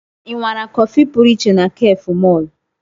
Ị nwara kọfị pụrụ iche na cafe mall?